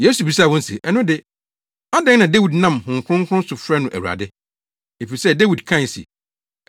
Yesu bisaa wɔn se “Ɛno de, adɛn na Dawid nam Honhom Kronkron so frɛ no ‘Awurade?’ Efisɛ Dawid kae se,